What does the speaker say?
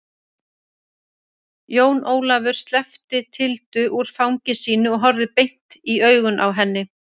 Jón Ólafur sleppti Tildu úr fangi sínu og horfði beint i augun á henni.